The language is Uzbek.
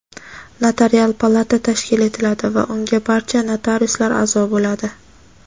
Notarial palata tashkil etiladi va unga barcha notariuslar aʼzo bo‘ladi.